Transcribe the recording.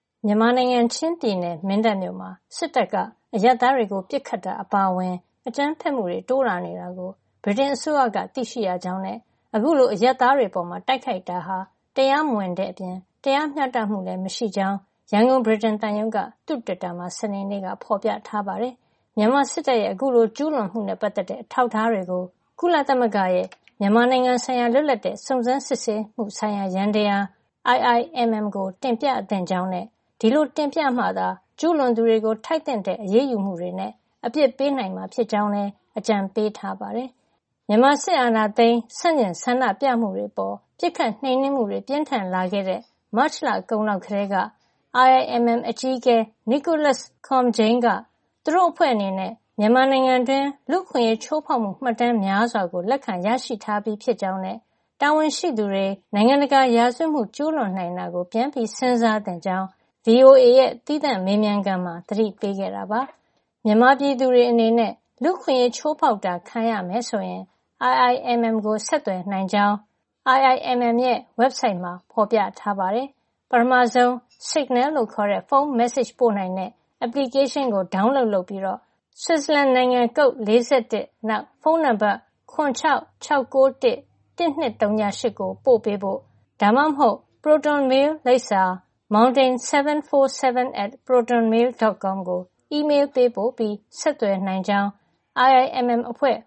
မြန်မာနိုင်ငံ ချင်းပြည်နယ် မင်းတပ်မြို့မှာ စစ်တပ်က အရပ်သားတွေကို ပစ်ခတ်တာ အပါအဝင် အကြမ်းဖက်မှုတွေ တိုးလာနေတာကို ဗြိတိန်အစိုးရက သိရှိရကြောင်းနဲ့ အခုလို အရပ်သားတွေအပေါ် တိုက်ခိုက်တာဟာ တရားမဝင်တဲ့အပြင် တရားမျှတမှုလည်း မရှိကြောင်း ရန်ကုန် ဗြိတိန်သံရုံးက သူ့တွစ်တာမှာ စနေေ့က ဖော်ပြထားပါတယ်။ မြန်မာစစ်တပ်ရဲ့ အခုလို ကျူးလွန်မှုနဲ့ ပတ်သက်တဲ့ အထောက်အထားတွေကို ကုလသမဂ္ဂရဲ့ မြန်မာနိုင်ငံဆိုင်ရာ လွတ်လပ်တဲ့ စုံစမ်းစစ်ဆေးမှုဆိုင်ရာ ယန္တရား (Independent Investigative Mechanism for Myanmar - IIMM) ကို တင်ပြသင့်ကြောင်းနဲ့ ဒီလိုတင်ပြမှသာ ကျူးလွန်သူတွေကို ထိုက်သင့်တဲ့ အရေးယူမှုတွေနဲ့ အပြစ်ပေးနိုင်မှာဖြစ်ကြောင်းလည်း အကြံပေးထားပါတယ်။ မြန်မာစစ်အာဏာသိမ်း ဆန့်ကျင်ဆန္ဒပြမှုတွေအပေါ် ပစ်ခတ်နှိမ်နင်းမှုတွေ ပြင်းထန်လာခဲ့တဲ့ မတ်လကုန်လောက်ကတည်းက IIMM အကြီးအကဲ Nicholas Koumjian က သူတို့အဖွဲ့အနေနဲ့ မြန်မာနိုင်ငံတွင်း လူ့အခွင့်အရေး ချိုးဖောက်မှု မှတ်တမ်းများစွာကို လက်ခံရရှိထားပြီး ဖြစ်ကြောင်းနဲ့ တာဝန်ရှိသူတွေ နိုင်ငံတကာ ရာဇဝတ်မှု ကျူးလွန်နိုင်တာကို ပြန်စဉ်းစားသင့်ကြောင်း ဗွီအိုအေရဲ့ သီးသန့် မေးမြန်းခန်းမှာ သတိပေးခဲ့တာပါ။ မြန်မာပြည်သူတွေအနေနဲ့ လူ့အခွင့်ရေးချိုးဖောက်တာ ခံရမယ်ဆိုရင် IIMM ကို ဆက်သွယ်နိုင်ကြောင်း https://iimm.un.org ဝက်ဘ်ဆိုက်မှာ ဖော်ပြထားပါတယ်။ ပထမဆုံး ဆစ်ဂနယ်လို့ခေါ်တဲ့ ဖုန်းမက်ဆေ့ချ်ပို့နိုင်တဲ့ Application ကို ဒေါင်းလုပ် လုပ်ပြီးတော့ ဆွစ်ဇာလန်နိုင်ငံ နိုင်ငံ Code + (၄၁)၊ နောက် ဖုန်းနံပါတ် ၇၆၆၉၁၁၂၀၈ ကို ပို့ပေးဖို့ (ဒါမှမဟုတ်) ခုနပြောတဲ့ ပရိုတွန်မေးလ်လိပ်စာ၊ mountain741@protonmail.com ကို အီးမေးလ်ပေးပို့ပြီး ဆက်သွယ်နိုင်ကြောင်း IIMM အဖွဲ့